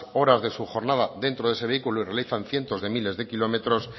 horas de su jornada dentro de ese vehículo y realizan ciento de miles de kilómetros